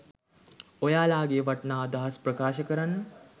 ඔයාලගේ වටිනා අදහස් ප්‍රකාශ කරන්න